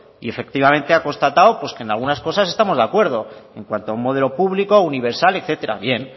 y efectivamente ha constatado de que en algunas cosas estamos de acuerdo en cuanto a un modelo público universal etcétera bien